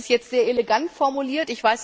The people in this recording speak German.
Das ist jetzt sehr elegant formuliert.